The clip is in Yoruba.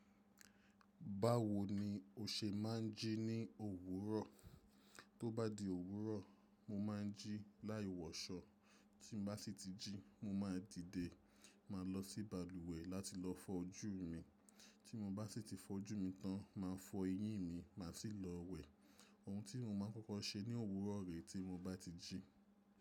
Báwo ni o ṣe máa ń jí ní òwúrọ̀? Tó bá di òwúrọ̀, mo máa ń jí láì wọṣọ. Tí mo bá sì ti jí, mo máa dìde, máa lọ sí balùwẹ̀ láti lọ fọ́ ojú mi. Tí mo bá sì ti fọ́ ojú mi tán, máa fọ eyín mi, màá sì lọ wẹ̀. Ohun tí mo máa ń kọ́kọ́ ṣe ní òwúrọ̀ rè tí mo bá ti jí.